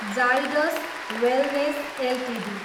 Zydus wellness Ltd